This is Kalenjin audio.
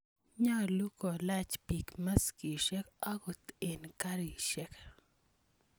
Nyalu kolach piik maskiyek angot eng' karisyek.